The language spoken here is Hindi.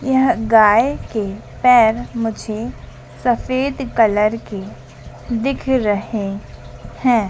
यह गाय के पैर मुझे सफेद कलर के दिख रहे हैं।